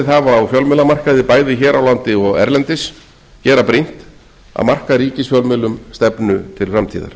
hafa á fjölmiðlamarkaði bæði hér á landi og erlendis gera brýnt að marka ríkisfjölmiðlum stefnu til framtíðar